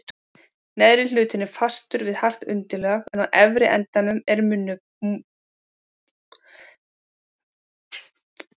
Neðri hlutinn er fastur við hart undirlag en á efri endanum er munnopið umlukið þreifiöngum.